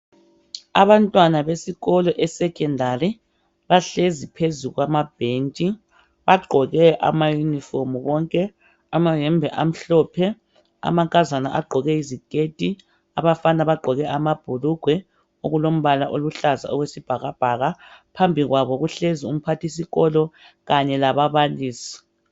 Abantwana besikolo esekhendari, bahlezi phezu kwamabhentshi. Bagqoke amayunifomu bonke. Amayembe amhlophe, amankazana agqoke iziketi, abafana bagqoke amabhulugwe okulombala oluhlaza okwesibhakabhaka. Phambi kwabo kuhlezi umphathisikolo kanye lababalisi.